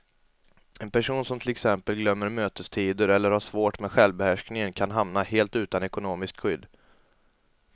En person som till exempel glömmer mötestider eller har svårt med självbehärskningen kan hamna helt utan ekonomiskt skydd.